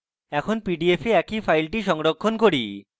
এখন pdf এ একই file সংরক্ষণ করি